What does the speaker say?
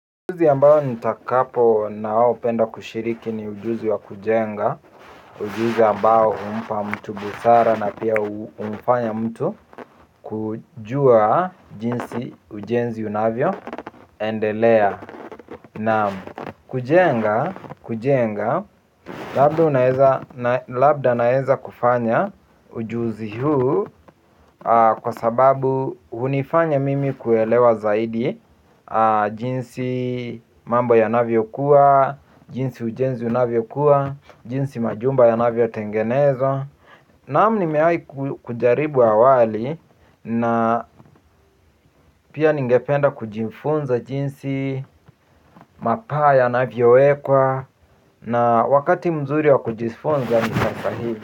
Ujuzi ambao nitakapo na wao penda kushiriki ni ujuzi wa kujenga. Ujuzi ambao humpa mtu busara na pia humfanya mtu kujua jinsi ujenzi unavyo endelea. Na kujenga labda naeza kufanya ujuzi huu kwa sababu hunifanya mimi kuelewa zaidi jinsi mambo yanavyo kuwa, jinsi ujenzi unavyo kuwa, jinsi majumba ya navyo tengenezwa. Naam nimewai kujaribu awali na pia ningependa kujifunza jinsi mapaa yanavyo wekwa na wakati mzuri wa kujifunza ni kafahibi.